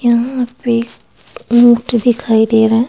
यहां पे नीट दिखाई दे रहा है।